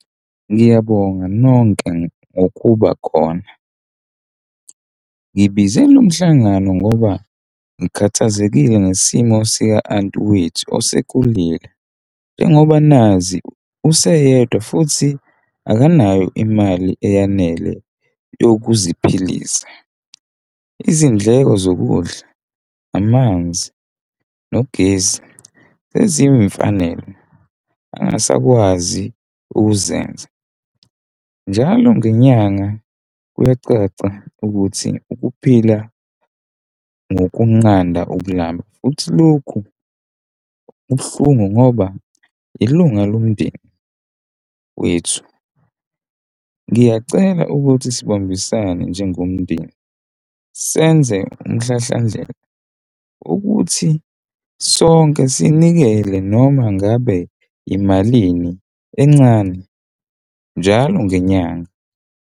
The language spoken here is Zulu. Ngiyabonga nonke, ngokuba khona. Ngibize lo mhlangano ngoba ngikhathazekile ngesimo sika-anti wethu osekhulile njengoba nazi useyedwa futhi akanayo imali eyanele yokuziphilisa. Izindleko zokudla amanzi nogesi ezinye imfanele angasakwazi ukuzenza njalo ngenyanga kuyacaca ukuthi ukuphila ngokunqanda ukululama futhi lokhu kubuhlungu ngoba ilunga lomndeni wethu. Ngiyacela ukuthi sibambisane njengomndeni, senze umhlahlandlela ukuthi sonke sinikele noma ngabe imalini encane njalo ngenyanga.